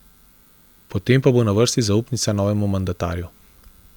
Potem pa bo na vrsti zaupnica novemu mandatarju.